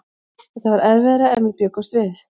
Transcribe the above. Þetta var erfiðara en við bjuggumst við.